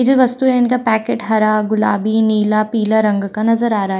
ये जो वस्तुएं है इनका पैकेट हरा गुलाबी नीला पीला रंग का नजर आ रहा--